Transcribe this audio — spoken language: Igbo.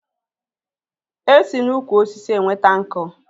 E si n'ukwu osisi enweta nkú